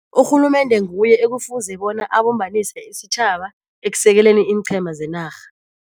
Urhulumende nguye ekufuze bona abumbanise isitjhaba ekusekeleni iinqhema zenarha.